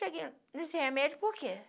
Cheguei nesse remédio por quê?